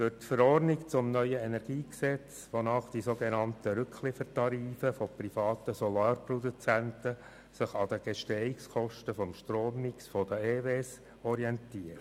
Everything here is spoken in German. Gemäss Verordnung zum neuen Energiegesetz orientieren sich die sogenannten Rückliefertarife von privaten Solarstromproduzenten an den Gestehungskosten des Strommix der Elektrizitätswerke.